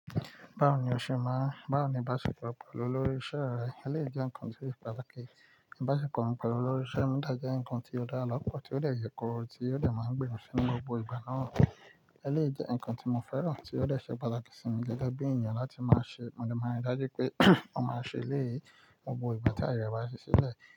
Báwo ni o ṣe máa, báwo ni ìbáṣepọ̀ pẹ̀lú olórí iṣẹ́ rẹ eléyìí jẹ nǹkan tí ó ṣe pàtàkì ìbáṣepọ̀ pẹ̀lú olórí iṣẹ́ mi dẹ̀ jẹ́ nǹkan tí ó dára lọ́pọ̀ tí ó dẹ̀ yè kooro, tí ó dẹ̀ máa gbìmọ̀ si ní gbogbo ìgbà náà. Eléyìí jẹ́ nǹkan tí mo fẹ́ràn tí ó dẹ̀ ṣe pátàkì sími gẹ́gẹ́ bí èèyàn láti máa ṣe, mo dẹ̀ máa ń rí dájú pé mo máa ṣe eléyìí ní gbogbo ìgbà tí ààyè rẹ̀ bá ṣí sílẹ̀.